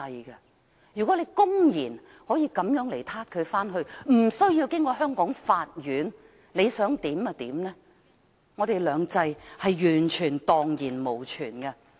如果可以公然抓人回去，無須經過香港法院，為所欲為，我們的"兩制"便蕩然無存。